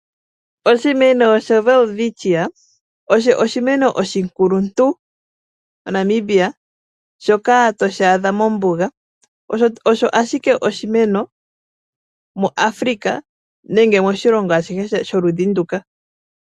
Oshimeno shoWelwitchia osho oshimeno oshikuluntu moNamibia, shoka toshi adha mombuga. Osho ashike oshimeno muAfrika nenge moshilongo ashihe sholudhi nduka.